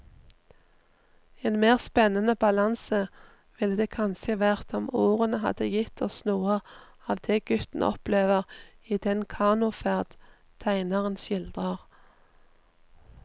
En mer spennende balanse ville det kanskje vært om ordene hadde gitt oss noe av det gutten opplever i den kanoferd tegneren skildrer.